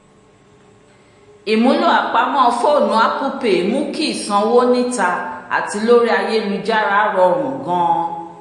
ìmúlò apamọ́ fónù apple pay mú kí ìsanwó níta àti lórí ayélujára rọrùn gan-an